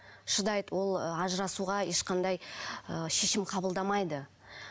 шыдайды ол ы ажырасуға ешқандай ы шешім қабылдамайды